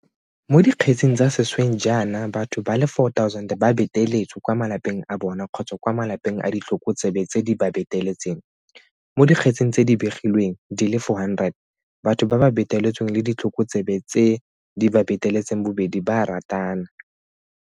Mo dikgetseng tsa sešweng jaana batho ba le 4 000 ba beteletswe kwa malapeng a bona kgotsa kwa malapeng a ditlhokotsebe tse di ba beteletseng, mo dikgetseng tse di begilwengdi le 400 batho ba ba beteletsweng le ditlhokotsebe tse di ba beteletseng bobedi ba a ratana.